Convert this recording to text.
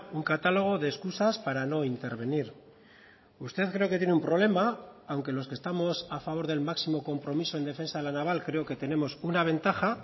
un catálogo de excusas para no intervenir usted creo que tiene un problema aunque los que estamos a favor del máximo compromiso en defensa de la naval creo que tenemos una ventaja